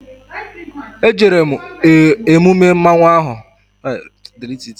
E jere m emume mmanwụ ahụ